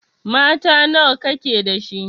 Mata nawa ka ke da shi?